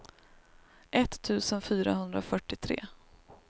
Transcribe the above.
etttusen fyrahundrafyrtiotre